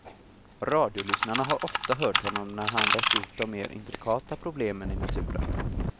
Radiolyssnarna har ofta hört honom, när han rett ut de mer intrikata problemen i naturen.